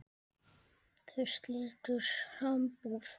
Þau slitu sambúð.